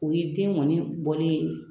O ye den ŋɔni bɔlen ye